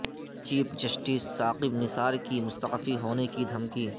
chief justice Saqib Nisar کی مستعفی ہونے کی دھمکی